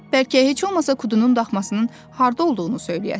Bəlkə heç olmasa Kudunun daxmasının harda olduğunu söyləyəsiz.